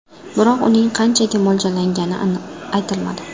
Biroq uning qanchaga mo‘ljallangani aytilmadi.